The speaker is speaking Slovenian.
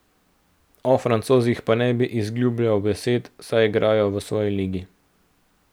O Francozih pa ne bi izgubljal besed, saj igrajo v svoji ligi.